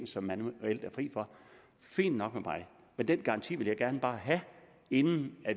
så manuelt er fri for fint nok med mig men den garanti vil jeg gerne bare have inden